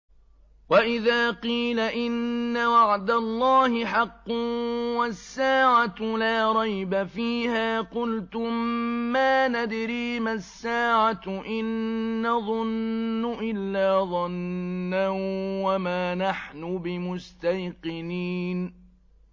وَإِذَا قِيلَ إِنَّ وَعْدَ اللَّهِ حَقٌّ وَالسَّاعَةُ لَا رَيْبَ فِيهَا قُلْتُم مَّا نَدْرِي مَا السَّاعَةُ إِن نَّظُنُّ إِلَّا ظَنًّا وَمَا نَحْنُ بِمُسْتَيْقِنِينَ